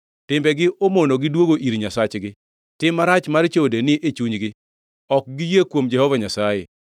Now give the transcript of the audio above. “Timbegi omonogi duogo ir Nyasachgi. Tim marach mar chode ni e chunygi; ok giyie kuom Jehova Nyasaye.